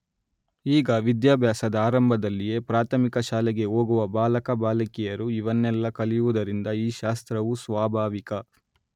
ಈಗ ವಿದ್ಯಾಭ್ಯಾಸದ ಆರಂಭದಲ್ಲಿಯೇ ಪ್ರಾಥಮಿಕ ಶಾಲೆಗೆ ಹೋಗುವ ಬಾಲಕ ಬಾಲಿಕೆಯರು ಇವನ್ನೆಲ್ಲಾ ಕಲಿಯುವುದರಿಂದ ಈ ಶಾಸ್ತ್ರವು ಸ್ವಾಭಾವಿಕ